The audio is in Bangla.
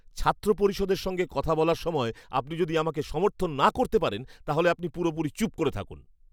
ছাত্র পরিষদের সঙ্গে কথা বলার সময় আপনি যদি আমাকে সমর্থন না করতে পারেন, তাহলে আপনি পুরোপুরি চুপ করে থাকুন!